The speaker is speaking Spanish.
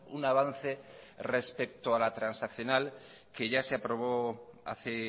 un avance respecto a la transaccional que ya se aprobó hace